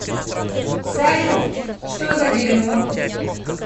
салют что за дерьмо